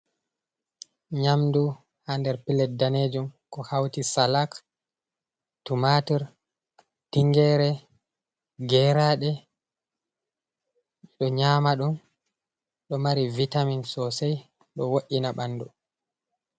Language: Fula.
Nyamdu ha nder pilet danejum, ko hauti salak tumatir, tingere, geraɗe ɗo nyama ɗum ɗo mari vitamin sosai ɗo wo’’ina ɓandu.